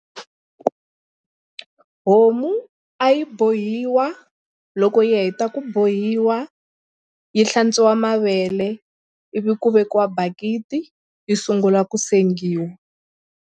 Homu a yi bohiwa loko yi heta ku bohiwa yi hlantswiwa mavele ivi ku vekiwa bakiti yi sungula ku sengiwa.